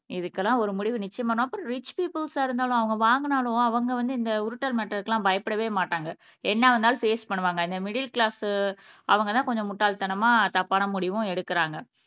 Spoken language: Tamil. இதுக்கெல்லாம் ஒரு முடிவு அப்பறம் ரிச் பிப்பல்ஸா இருந்தாலும் அவங்க வாங்கினாலும் அவங்க வந்து இந்த உருட்டல் மிரட்டல்க்கெல்லாம் பயப்படவே மாட்டாங்க என்ன வந்தாலும் பேஸ் பண்ணுவாங்க இந்த மிடில் கிளாஸ் அவங்கதான் கொஞ்சம் முட்டாள்தனமா தப்பான முடிவும் எடுக்குறாங்க